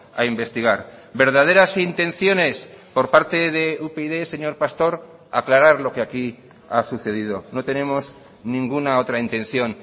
a investigar verdaderas intenciones por parte de upyd señor pastor aclarar lo que aquí ha sucedido no tenemos ninguna otra intención